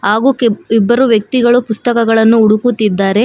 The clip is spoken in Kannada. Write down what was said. ಹಾಗೂ ಕೆಂಪ್ ಇಬ್ಬರೂ ವ್ಯಕ್ತಿಗಳು ಪುಸ್ತಕಗಳನ್ನು ಹುಡುಕುತ್ತಿದಾರೆ.